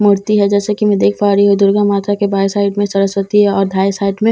मूर्ति है जैसा कि मैं देख पा रही हूं दुर्गा माता के बाएं साइड में सरस्वती है और दाएं साइड में लक्ष्मी --